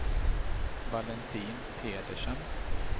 Valentin Pedersen